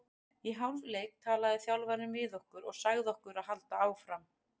Í hálfleik talaði þjálfarinn við okkur og sagði okkur að halda áfram.